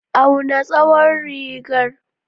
Auna tsawon rigar.